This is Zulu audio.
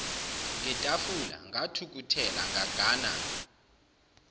ngetafula ngathukuthela ngagana